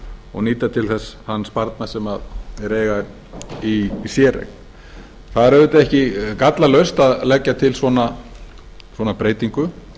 og nýta til þess þann sparnað sem þeir eiga í séreign það er auðvitað ekki gallalaust að leggja til svona breytingu